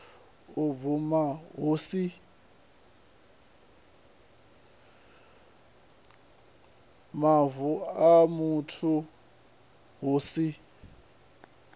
mavu a muthu hu si